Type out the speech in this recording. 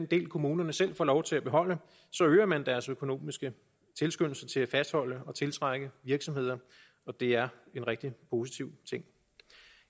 del kommunerne selv får lov til at beholde øger man deres økonomiske tilskyndelse til at fastholde og tiltrække virksomheder og det er en rigtig positiv ting